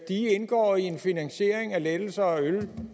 indgår i en finansiering af lettelser af øl